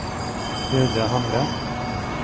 Hilde Hamre